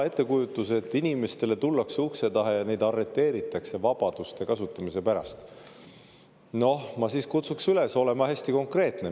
Ettekujutus, et inimestele tullakse ukse taha ja neid arreteeritakse vabaduste kasutamise pärast – noh, ma siis kutsuks üles olema hästi konkreetne.